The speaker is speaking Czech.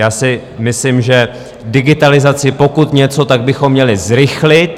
Já si myslím, že digitalizaci, pokud něco, tak bychom měli zrychlit.